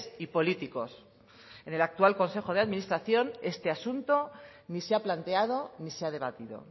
y políticos en el actual consejo de administración este asunto ni se ha planteado ni se ha debatido